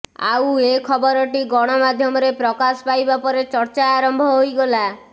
ଆଉ ଏ ଖବରଟି ଗଣ ମାଧ୍ୟମରେ ପ୍ରକାଶ ପାଇବା ପରେ ଚର୍ଚ୍ଚା ଆରମ୍ଭ ହୋଇଗଲା